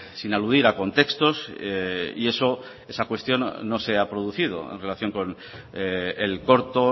sin aludir a contextos y eso esa cuestión no se ha producido en relación con el corto